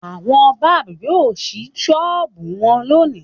Àwọn báb yóò ṣí ṣọ́ọ́bù wọn lónìí.